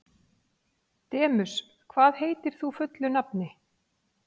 Demus, hvað heitir þú fullu nafni?